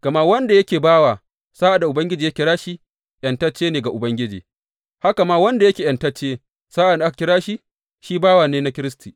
Gama wanda yake bawa sa’ad da Ubangiji ya kira shi, ’yantacce ne na Ubangiji; haka ma, wanda yake ’yantacce sa’ad da aka kira shi, bawa ne na Kiristi.